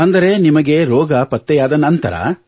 ಅಂದರೆ ನಿಮಗೆ ರೋಗ ಪತ್ತೆಯಾದ ನಂತರ